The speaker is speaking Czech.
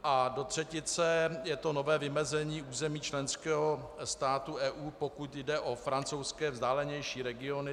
A do třetice je to nové vymezení území členského státu EU, pokud jde o francouzské vzdálenější regiony.